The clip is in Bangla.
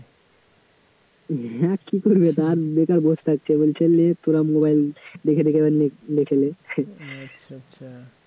হ্যাঁ কী করবে তো আর বেকার বসে থাকছে, বলছে নে তোরা mobile দেখে দেখে এবার লেখ~ লিখে নে